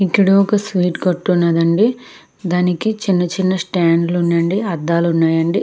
ఇక్కడ ఒక స్వీట్ కొట్టు ఉన్నదండి దానికి చిన్న చిన్న స్టాండ్ లు ఉన్నాయండి అద్దాలు ఉన్నాయండి.